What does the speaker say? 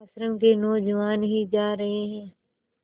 आश्रम के नौजवान ही जा रहे हैं